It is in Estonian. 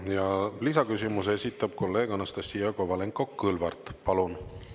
Ja lisaküsimuse esitab kolleeg Anastassia Kovalenko-Kõlvart, palun!